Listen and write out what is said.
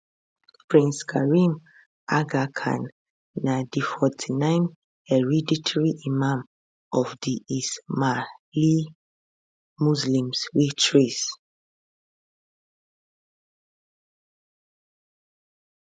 prince karim aga khan na di 49th hereditary imam of di ismaili muslims wey trace